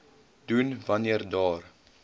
doen wanneer daar